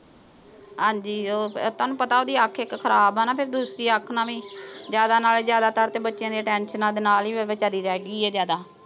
ਹਾਂਜੀ। ਉਹ ਅਹ ਤੁਹਾਨੂੰ ਪਤਾ ਉਹਦੀ ਅੱਖ ਇੱਕ ਖਰਾਬ ਆ ਨਾ। ਫੇਰ ਦੂਸਰੀ ਅੱਖ ਨਾਲ ਹੀ। ਜ਼ਿਆਦਾ ਨਾਲੇ ਜ਼ਿਆਦਾਤਰ ਤਾਂ ਬੱਚਿਆਂ ਦੀਆਂ tensions ਦੇ ਨਾਲ ਹੀ ਵਿਚਾਰੀ ਰਹਿ ਗੀ ਆ ਜ਼ਿਆਦਾ।